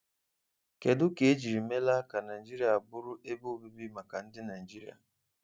Kedụ ka ejiri meela ka Naịjirịa bụrụ ebe obibi maka ndị Naịjirịa?